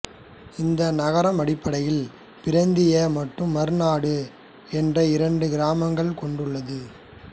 இந்நகரம் அடிப்படையில் பிரந்த்யா மற்றும் மார்நாடு என்ற இரண்டு கிராமங்களைக் கொண்டுள்ளது